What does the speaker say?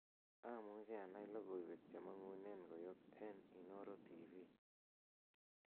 amuche anai logoiwek chemong'unen koyop en inooro tv